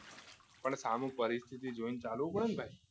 પણ સામું પરિસ્થિતિ જોઈને ચાલુ પડે ને ભાઈ